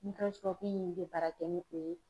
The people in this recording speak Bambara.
in bɛ baara kɛ ni o ye.